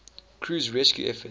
crew's rescue efforts